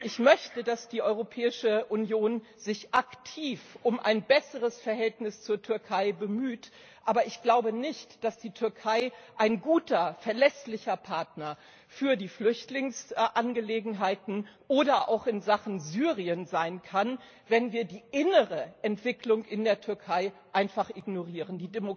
Ich möchte, dass die Europäische Union sich aktiv um ein besseres Verhältnis zur Türkei bemüht, aber ich glaube nicht, dass die Türkei ein guter, verlässlicher Partner für die Flüchtlingsangelegenheiten oder auch in Sachen Syrien sein kann, wenn wir die innere Entwicklung in der Türkei einfach ignorieren.